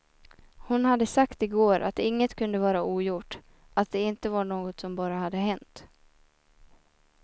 Hon hade sagt igår att inget kunde vara ogjort, att det inte var något som bara hade hänt.